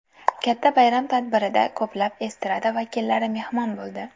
Katta bayram tadbirida ko‘plab estrada vakillari mehmon bo‘ldi.